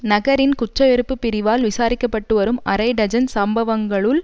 நகரின் குற்றவெறுப்பு பிரிவால் விசாரிக்க பட்டு வரும் அரை டஜன் சம்பவங்களுள்